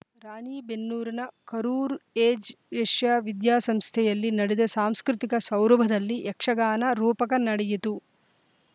ರಾಣೆಬೆನ್ನೂರಿನ Karur Edu Asia ವಿದ್ಯಾಸಂಸ್ಥೆಯಲ್ಲಿ ನಡೆದ ಸಾಂಸ್ಕೃತಿಕ ಸೌರಭದಲ್ಲಿ ಯಕ್ಷಗಾನ ರೂಪಕ ನಡೆಯಿತು